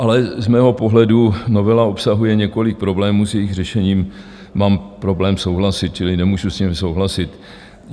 Ale z mého pohledu novela obsahuje několik problémů, s jejichž řešením mám problém souhlasit, čili nemůžu s nimi souhlasit.